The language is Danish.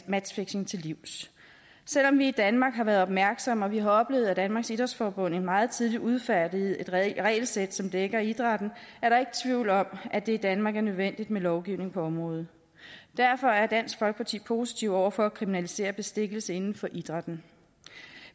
matchfixing til livs selv om vi i danmark har været opmærksomme og vi har oplevet at danmarks idrætsforbund meget tidligt udfærdigede et regelsæt som dækker idrætten er der ikke tvivl om at det i danmark er nødvendigt med lovgivning på området derfor er dansk folkeparti positive over for at kriminalisere bestikkelse inden for idrætten